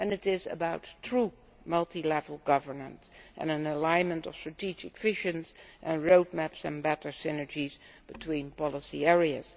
It is about true multi level governance and an alignment of strategic visions and road maps and better synergies between policy areas.